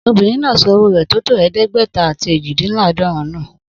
Obìnrin náà sọ owo rẹ tótó eedegbeta ati ejidinladorun nu.